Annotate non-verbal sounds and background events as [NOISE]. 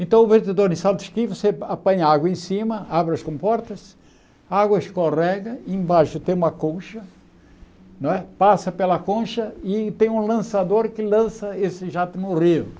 Então, o [UNINTELLIGIBLE] em, [UNINTELLIGIBLE] você apanha água em cima, abre as comportas, a água escorrega, embaixo tem uma concha não é, passa pela concha e tem um lançador que lança esse jato no rio.